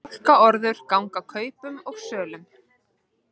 Fálkaorður ganga kaupum og sölum